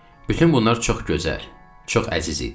Bütün bunlar çox gözəl, çox əziz idi.